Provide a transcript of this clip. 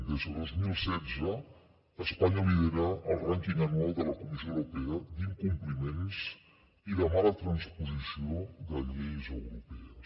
des de dos mil setze espanya lidera el rànquing anual de la comissió europea d’incompliments i de mala transposició de lleis europees